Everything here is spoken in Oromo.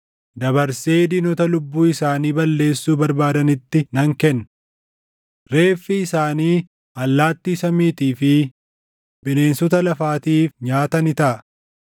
dabarsee diinota lubbuu isaanii balleessuu barbaadanitti nan kenna. Reeffi isaanii allaattii samiitii fi bineensota lafaatiif nyaata ni taʼa.